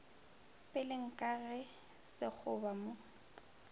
peleng ka ge sekgoba mo